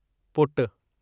पुटु